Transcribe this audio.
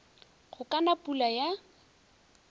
go ka na pula ya